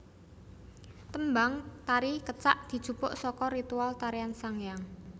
Tembang tari Kecak dijupuk saka ritual tarian sanghyang